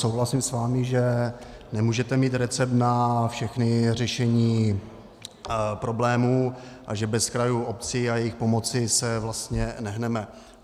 Souhlasím s vámi, že nemůžete mít recept na všechna řešení problémů a že bez krajů, obcí a jejich pomoci se vlastně nehneme.